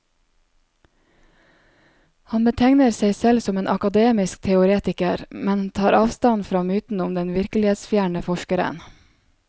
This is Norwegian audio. Han betegner seg selv som en akademisk teoretiker, men tar avstand fra myten om den virkelighetsfjerne forskeren.